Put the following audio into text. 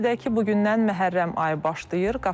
Qeyd edək ki, bu gündən Məhərrəm ayı başlayır.